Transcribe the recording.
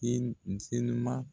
Iyen n senima